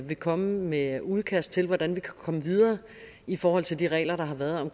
vil komme med et udkast til hvordan vi kan komme videre i forhold til de regler der har været om